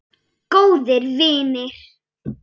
Góðir vinir.